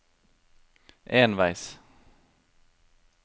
enveis